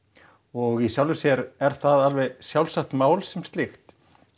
og í sjálfu sér er það alveg sjálfsagt mál sem slíkt